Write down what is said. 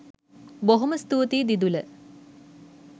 බොහොම ස්තූතියි දිදුල